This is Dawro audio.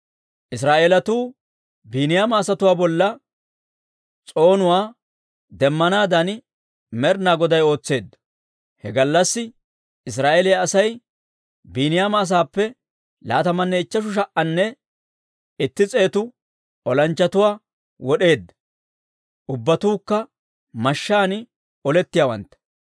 Israa'eelatuu Biiniyaama asatuwaa bolla s'oonuwaa demmanaadan Med'inaa Goday ootseedda. He gallassi Israa'eeliyaa Asay Biiniyaama asaappe laatamanne ichcheshu sha"anne itti s'eetu olanchchatuwaa wod'eedda; ubbatuukka mashshaan olettiyaawantta.